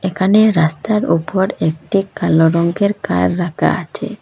এখানে রাস্তার ওপর একটি কালো রঙ্গের কার রাখা আছে।